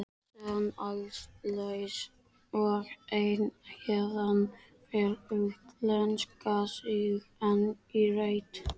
Senn allslaus og einn héðan fer, útlenskan síg oní reit.